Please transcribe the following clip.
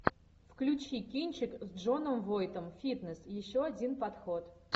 включи кинчик с джоном войтом фитнес еще один подход